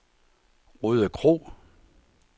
Rødekro